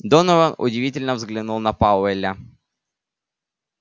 донован удивлённо взглянул на пауэлла